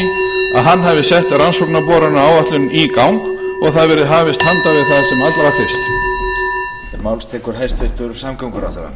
að hann hafi sett rannsóknarboranaáætlun í gang og það verði hafist handa um það sem allra fyrst